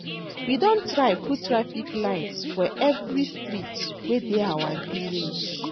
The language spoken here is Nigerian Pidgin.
We don try put traffic lights for every street wey dey our village